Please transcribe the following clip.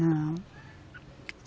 Não.